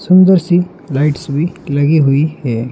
सुंदर सी लाइट्स भी लगी हुई है।